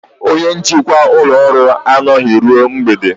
Onye njikwa ụlọ ọrụ anọghị ruo mgbede